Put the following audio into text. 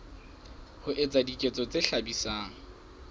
ho etsa diketso tse hlabisang